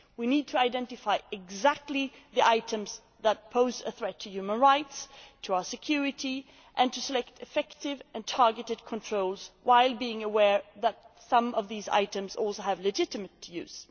We need to identify exactly which items pose a threat to human rights, to our security, and to select effective and targeted controls while being aware that some of these items also have a legitimate use.